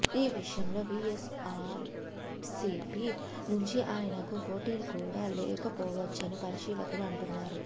ఈ విషయంలో వైఎస్సార్సీపీ నుంచి ఆయనకు పోటీ కూడా లేకపోవచ్చని పరిశీలకులు అంటున్నారు